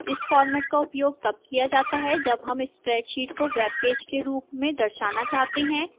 इस format का उपयोग तब किया जाता है जब हम spreadsheet को web page के रूप में दर्शाना चाहते हैं